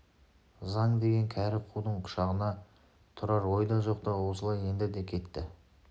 заң деген кәрі қудың құшағына тұрар ойда жоқта осылай енді де кетті